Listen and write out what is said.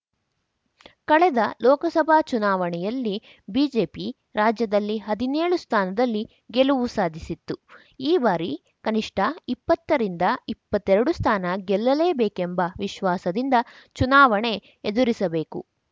ಕಳೆದ ಲೋಕಸಭಾ ಚುನಾವಣೆಯಲ್ಲಿ ಬಿಜೆಪಿ ರಾಜ್ಯದಲ್ಲಿ ಹದಿನೇಳು ಸ್ಥಾನದಲ್ಲಿ ಗೆಲುವು ಸಾಧಿಸಿತ್ತು ಈ ಬಾರಿ ಕನಿಷ್ಠ ಇಪ್ಪತ್ತರಿಂದ ಇಪ್ಪತ್ತೆರಡು ಸ್ಥಾನ ಗೆಲ್ಲಲೇಬೇಕೆಂಬ ವಿಶ್ವಾಸದಿಂದ ಚುನಾವಣೆ ಎದುರಿಸಬೇಕು